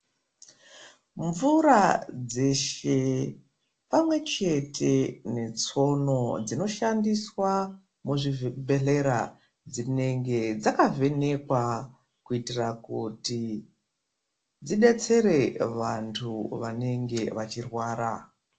Mvura dzeshe pamwe chete ne tsono dzino shandiswa mu zvi bhedhlera dzinenge dzaka vhenekwa kuitira kuti dzidetsere vantu vanenge vachi rwara.